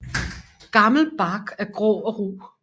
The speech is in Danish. Gammel bark er grå og ru